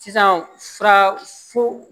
Sisan fura fo